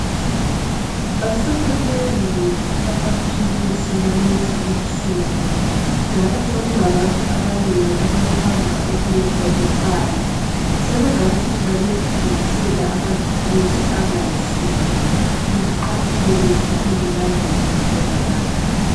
Asemanengi amaphilisi kulezi insuku njalo sokulabantu abanengi abathanda ukwenza imali. Sebengacina belithengisela amaphilisi angayisiwo liqaphele njalo linanzelele njengabantu